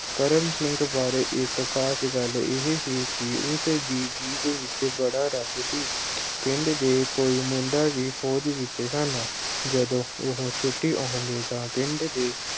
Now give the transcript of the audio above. ਕਰਮ ਸਿੰਘ ਬਾਰੇ ਇੱਕ ਖਾਸ ਗੱਲ ਇਹੇ ਸੀ ਕਿ ਉਸਦੀ ਜੀਭ ਵਿੱਚ ਬੜਾ ਰਸ ਸੀ ਅਹ ਪਿੰਡ ਦੇ ਕਈ ਮੁੰਡੇ ਵੀ ਫੌਜ ਵਿੱਚ ਸਨ, ਜਦੋਂ ਉਹੋ ਛੁੱਟੀ ਆਉਂਦੇ ਤਾਂ ਪਿੰਡ ਦੇ